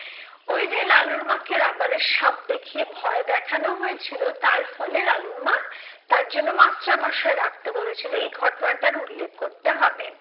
ওই লালুর মাকে রাবারের সাপ দেখিয়ে ভয় দেখানো হয়েছিল তার ফলে লালুর মা তার জন্য মাস্টারমশাই রাখতে বলেছিলো এই ঘটনাটার উল্লেখ করতে হবে।